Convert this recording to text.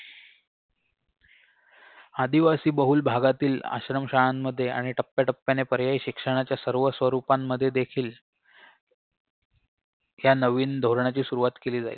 आदिवासी बहुल भागातील आश्रम शाळांमध्ये आणि टप्याटप्याने पर्यायी शिक्षणाच्या सर्व स्वरूपांमध्ये देखील ह्या नवीन धोरणाची सुरुवात केली जाई